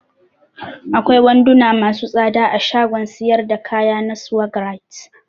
Akwai wanduna masu tsada a shagon siyar da kaya na Swagg right.